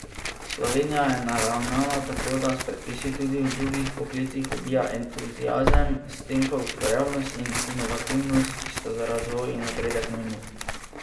Slovenija je naravnana tako, da s predpisi tudi v drugih poklicih ubija entuziazem, s tem pa ustvarjalnost in inovativnost, ki sta za razvoj in napredek nujni.